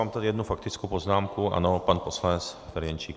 Mám tady jednu faktickou poznámku, ano, pan poslanec Ferjenčík.